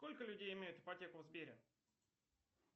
сколько людей имеют ипотеку в сбере